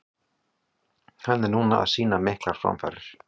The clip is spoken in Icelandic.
Hann er núna að sýna miklar framfarir.